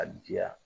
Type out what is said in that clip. A diya